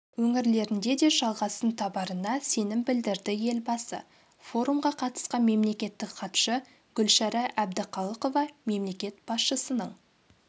өңірлерінде де жалғасын табарына сенім білдірді елбасы форумға қатысқан мемлекеттік хатшы гүлшара әбдіқалықова мемлекет басшысының